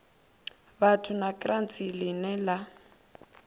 vhathu na kraits line la